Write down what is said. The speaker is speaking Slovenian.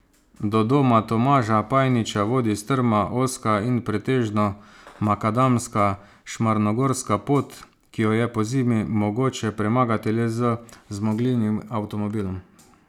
Do doma Tomaža Pajniča vodi strma, ozka in pretežno makadamska Šmarnogorska pot, ki jo je pozimi mogoče premagati le z zmogljivim avtomobilom.